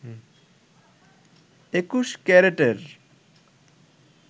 ২১ ক্যারেটের